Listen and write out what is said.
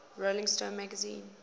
rolling stone magazine